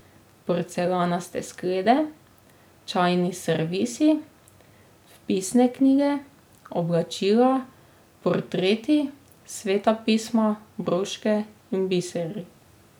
Porcelanaste sklede, čajni servisi, vpisne knjige, oblačila, portreti, Sveta pisma, broške in biseri.